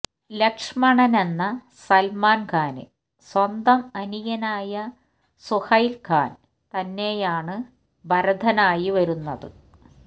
ലക്ഷ്മണനെന്ന സൽമാൻഖാന് സ്വന്തം അനിയനായ സുഹൈൽ ഖാൻ തന്നെയാണ് ഭരതനായി വരുന്നത്